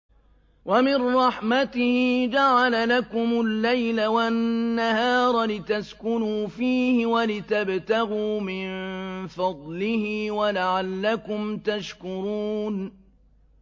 وَمِن رَّحْمَتِهِ جَعَلَ لَكُمُ اللَّيْلَ وَالنَّهَارَ لِتَسْكُنُوا فِيهِ وَلِتَبْتَغُوا مِن فَضْلِهِ وَلَعَلَّكُمْ تَشْكُرُونَ